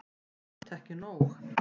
Samt ekki nóg.